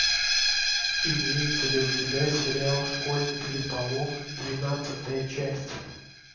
имеется ли у тебя сериал школьный переполох двенадцатая часть